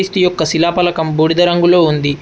క్రీస్తు యొక్క శిలాపలకం బూడిద రంగులో ఉంది.